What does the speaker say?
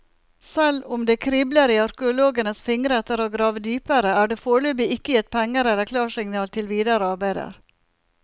Selv om det kribler i arkeologenes fingre etter å grave dypere, er det foreløpig ikke gitt penger eller klarsignal til videre arbeider.